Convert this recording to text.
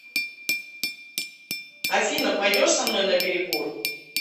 афина пойдешь со мной на перекур